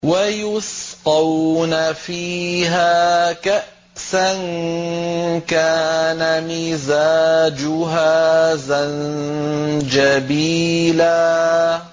وَيُسْقَوْنَ فِيهَا كَأْسًا كَانَ مِزَاجُهَا زَنجَبِيلًا